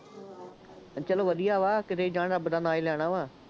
ਚੱਲੋ ਵਧੀਆ ਵਾ, ਕਿਤੇ ਵੀ ਜਾਣ, ਰੱਬ ਦਾ ਨਾਂ ਹੀ ਲੈਣਾ ਵਾ,